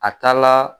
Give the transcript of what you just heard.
A taa la